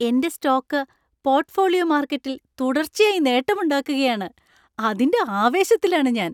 എൻ്റെ stock portfolio മാർക്കറ്റിൽ തുടർച്ചയായി നേട്ടം ഉണ്ടാക്കുകയാണ്. അതിൻ്റെ ആവേശത്തിലാണ് ഞാൻ.